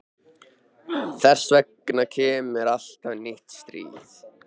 Þess vegna kemur alltaf nýtt stríð.